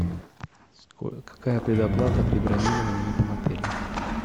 какая предоплата при бронировании в этом отеле